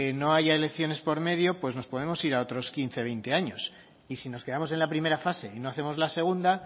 no haya elecciones por medio nos podemos ir a otros quince veinte años y si nos quedamos en la primera fase y no hacemos la segunda